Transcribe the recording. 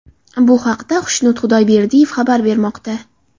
Bu haqda Xushnud Xudoyberdiyev xabar bermoqda .